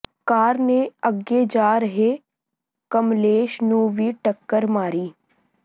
ਕਾਰ ਨੇ ਅੱਗੇ ਜਾ ਰਹੇ ਕਮਲੇਸ਼ ਨੂੰ ਵੀ ਟੱਕਰ ਮਾਰੀ